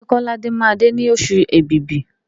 Ṣé Kọ́ládé máa dé ní oṣù Èbìbí?